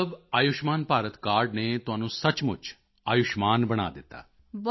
ਤਾਂ ਮਤਲਬ ਆਯੁਸ਼ਮਾਨ ਭਾਰਤ ਕਾਰਡ ਨੇ ਤੁਹਾਨੂੰ ਸੱਚਮੁਚ ਆਯੁਸ਼ਮਾਨ ਬਣਾ ਦਿੱਤਾ